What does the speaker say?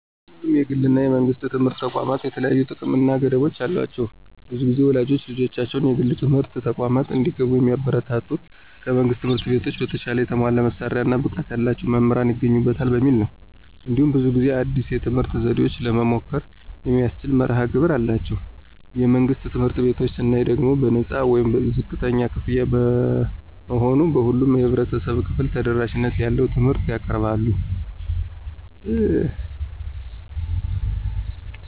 ሁለቱም የግል እና የመንግሥት ትምህርት ተቋማት የተለያዩ ጥቅሞች እና ገደቦች አሏቸው። ብዙ ጊዜ ወላጆች ልጆቻቸው የግል ትምህርት ተቋማት እንዲገቡ የሚያበረታቱት ከመንግሥት ትምህርት ቤቶች በተሻለ የተሟላ መሳሪያዎች እና ብቃት ያላቸው መምህራን ይገኙበታል በሚል ነው። እንዲሁም ብዙ ጊዜ አዲስ የትምህርት ዘዴዎችን ለመሞከር የሚያስችል መርሀ ግብር አላቸው። የመንግሥት ትምህርት ቤቶችን ስናይ ደግሞ በነፃ ወይም ዝቅተኛ ክፍያ በመሆኑ ለሁሉም የህብረተሰብ ክፍል ተደራሽነት ያለው ትምህርት ያቀርባሉ።